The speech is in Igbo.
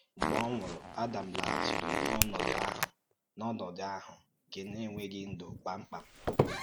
Mgbe ọ nwùrù, Ádàm lágàchìrì n’ónòdù ahụ̀ n’ónòdù ahụ̀ nke ènweghị ndú kpamkpam.